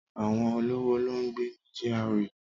Àwọn olówó ló ń gbé ní GRA